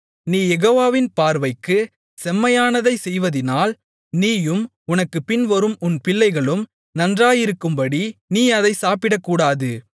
நீ யெகோவாவின் பார்வைக்குச் செம்மையானதைச் செய்வதினால் நீயும் உனக்குப் பின்வரும் உன் பிள்ளைகளும் நன்றாயிருக்கும்படி நீ அதைச் சாப்பிடக்கூடாது